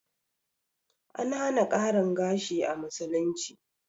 An hana ƙarin gashi a musulunci